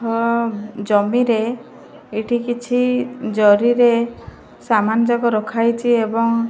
ହଁ ଜମି ରେ ଏଇଠି କିଛି ଜରି ରେ ସାମାନ ଯାକ ରଖା ହେଇଛି ଏବଂ --